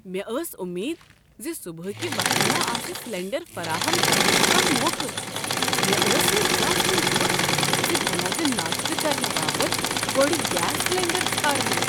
مےٚ ٲس امید ز صبحٕکہ وقتہٕ ما آسہ سلنڈر فراہم کرنک کانہہ موقعہٕ۔ مےٚ اوس نہٕ زانہہ سوچمت ز بہٕ لگہٕ ناشتہٕ کرنہٕ باپت گۄڈٕ گیس سلنڈر ژھارنہ۔